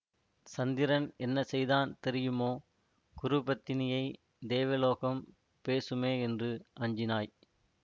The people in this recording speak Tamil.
சந்திரன் என்ன செய்தான் தெரியுமோ குரு பத்தினியை தேவலோகம் பேசுமே என்று அஞ்சினாய்